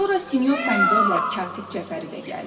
Sonra sinyor Pomidorla Katib Cəfəri də gəldi.